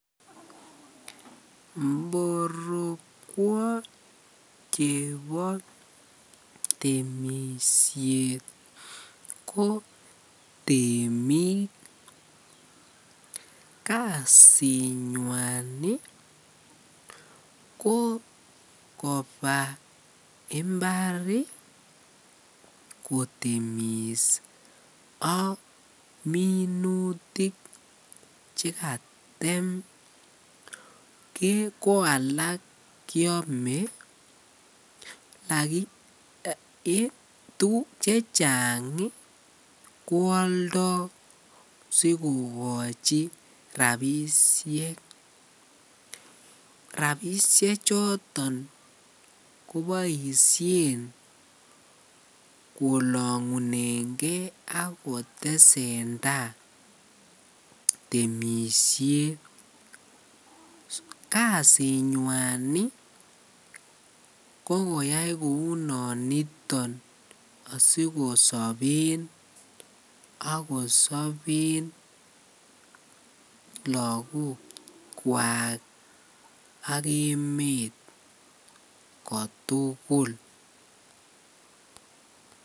Mborokwo chebo temishet ko temik, kasinywan kokoba imbar kotemis ak minutik chekatem ko alak kiome chechang koaldo sikokochi rabishek, rabishe choton koboishen kolongunenge ak kotesenta temishet, kasinywan ko koyai kounoniton asikosoben ak kosoben lokokwak ak emet kotukul.